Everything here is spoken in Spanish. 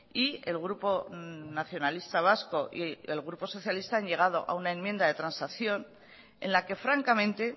y el grupo nacionalista vasco y el grupo socialista han llegado a una enmienda de transacción en la que francamente